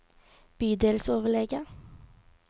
bydelsoverlege